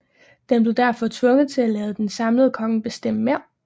Den blev derfor tvunget til at lade en samlende konge bestemme mere